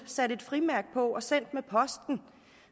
sat et frimærke på og sendt det med posten